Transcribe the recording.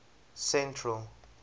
central